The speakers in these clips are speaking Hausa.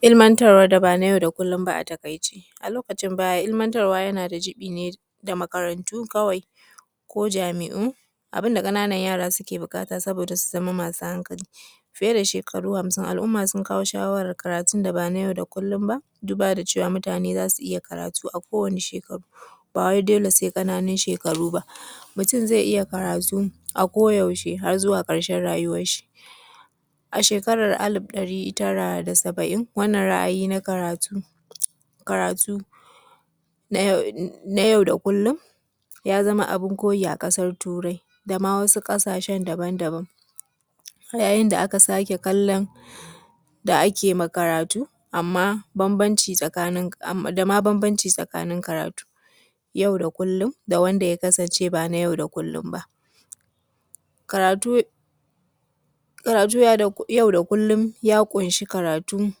Ilmantarwan da ba na yau da kullun ba a taƙaice, a lokacin baya ilmantarwa yana da jibi ne da makarantu kawai ko jami’u, abun da ƙananan yara ke buƙata saboda su zama masu hankali fiye da shekaru masu yawa al’umma sun kawo shawaran karatun da ban a yau da kullun ba don duba da cewa al’umma za su iya karatu a kowane shekaru ba dole sai ƙananun shekaru ba, mutun zai iya karatu a kowane lokaci har zuwa ƙarshe rayuwanshi. A shekara alif ɗari tara da saba’in wannan ra’ayi na karatu na yau da kullun ya zama abun koyi a ƙasar Turai dama wasu ƙasahse daban-daban yayin da aka sake kallom da ake ma karatu da ma bambanci tsakanin karatu yau da kullun da wanda ma ya kasance ba na yau da kulun ba. Karatun yau da kullun ya ƙunshi karatun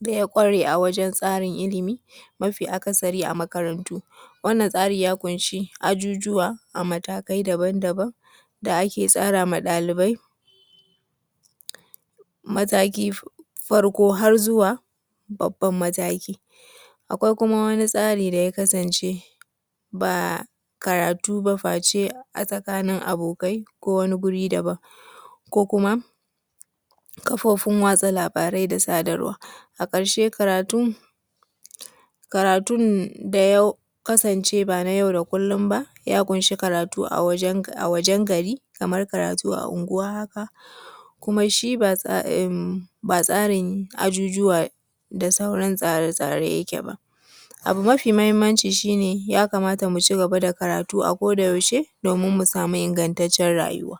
da yake ware a tsarin ilimi, mafi aksari ma a makarantu wannan tsari ya ƙunshi ajujuwa a matakai daban- daban da ake tsara ma ɗalibai, matakin farko har zuwa babban mataki, akwai kuma wani tsari da ya kasance ba karatu ba a tsakanin abokai ko wani guri daban ko kuma kafofin watsa labarai da sadarwa. A karshe karatun ya ƙunshi karatu a wajen gari kamar unguwanni kuma shi ba tsarin ajujuwa da sauran tsare-tsare yake ba, abu mafi muhimmanci shi ne ya kamata mu cigaba da karatu domin mu samu ingantaccen rayuwa.